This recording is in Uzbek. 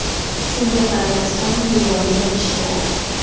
Shunga qaramasdan, me’yorni bilish kerak.